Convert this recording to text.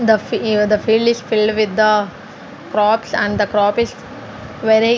the fi uh the field is filled with the crops and crop is very --